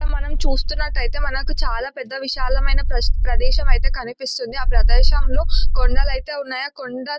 మనం చూస్తున్నట్టయితే మనకు చాలా పెద్ద విశాలమైన ప్రదేశం అయితే కనిపిస్తుంది. ఆ ప్రదేశంలో కొండలు అయితే ఉన్నాయి. ఆ కొండ --